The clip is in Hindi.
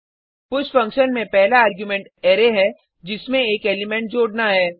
पुश फंक्शन में पहला आर्गुमेंट अरै है जिसमें एक एलिमेंट जोडना है